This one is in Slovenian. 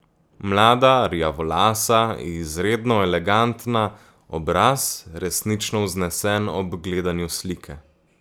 Mlada, rjavolasa, izredno elegantna, obraz, resnično vznesen ob gledanju slike.